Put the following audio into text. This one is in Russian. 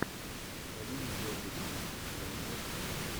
галина гергивна у тебя найдется